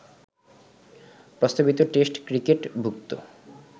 প্রস্তাবিত test cricket ভুক্ত